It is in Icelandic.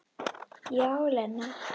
Já, Lena.